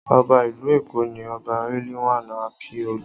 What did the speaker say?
Ọba ìlú Èkó ni Ọba Riliwan Akiolu.